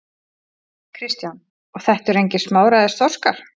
Kristján: Og þetta eru engir smáræðis þorskar?